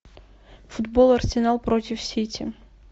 футбол арсенал против сити